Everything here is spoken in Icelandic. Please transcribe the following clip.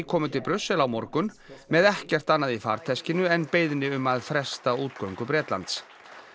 komi til Brussel á morgun með ekkert annað í farteskinu en beiðni um að fresta útgöngu Bretlands